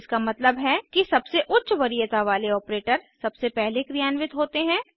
इसका मतलब है कि सबसे उच्च वरीयता वाले ऑपरेटर सबसे पहले क्रियान्वित होते हैं